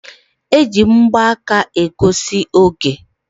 E ji mgbaka na egosi oge a mara oge.